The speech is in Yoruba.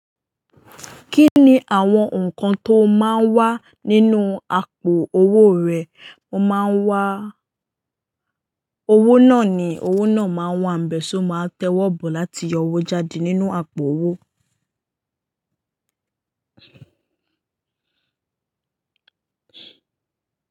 Kí ni àwọn nǹkan tó máa ń wà nínú àpò owó rẹ? Mo máa ń wá owó náà ni owó náà máa n wànbe, so máa ti owọ́ bọ̀ láti yọ owó jáde nínú àpò owó.